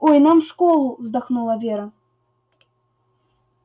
ой нам в школу вздохнула вера